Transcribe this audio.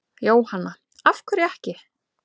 Jóhanna: Af hverju ekki?